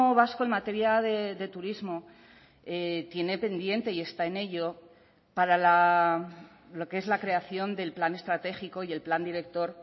vasco en materia de turismo tiene pendiente y está en ello para lo que es la creación del plan estratégico y el plan director